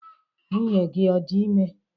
Nwunye gi odi ime?